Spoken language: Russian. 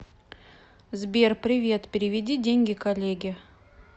сбер привет переведи деньги коллеге